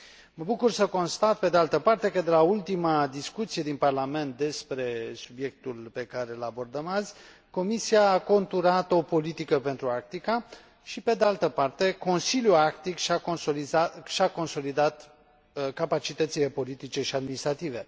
Mă bucur să constat, pe de altă parte, că de la ultima discuție din Parlament despre subiectul pe care îl abordăm azi, Comisia a conturat o politică pentru Arctica și, pe de altă parte, Consiliul Arctic și a consolidat capacitățile politice și administrative.